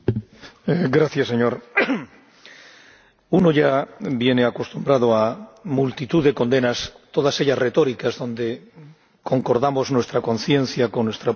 Señor Presidente, uno ya viene acostumbrado a multitud de condenas, todas ellas retóricas, donde concordamos nuestra conciencia con nuestra propia esencia.